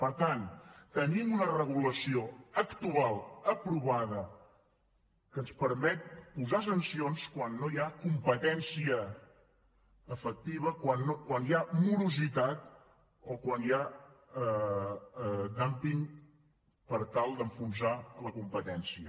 per tant tenim una regulació actual aprovada que ens permet posar sancions quan no hi ha competència efectiva quan hi ha morositat o quan hi ha dúmping per tal d’enfonsar la competència